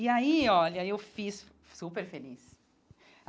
E aí, olha, eu fiz superfeliz.